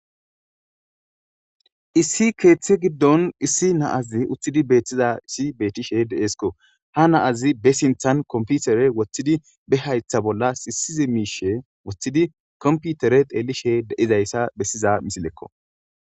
Issi keeththe giddon issi naazi uththidi beethtiza issi beettishe deesko ha naazi be sinthan komputere woththidi be haytha bolla sisize miishe woththidi komputere teellishe deizayssa bessiza misilekko.